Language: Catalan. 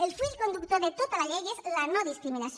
el fil conductor de tota la llei és la nodiscriminació